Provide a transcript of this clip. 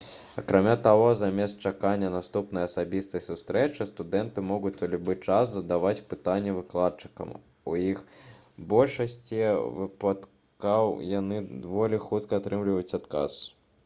акрамя таго замест чакання наступнай асабістай сустрэчы студэнты могуць у любы час задаваць пытанні выкладчыкам і ў большасці выпадкаў яны даволі хутка атрымліваюць адказ